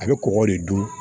A bɛ kɔgɔ de dun